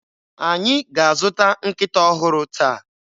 Anyị ga-azụta nkịta ọhụrụ taa